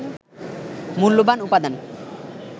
মূল্যবান উপাদান